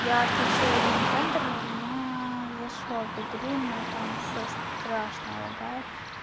я отключила гейм-центр и у меня зашла в игру но там всё страшно тормозит